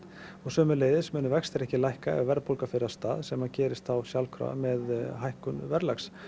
sömuleiðis munu vextir ekki lækka ef að verðbólga fer af stað sem að gerist þá sjálfkrafa með hækkun verðlags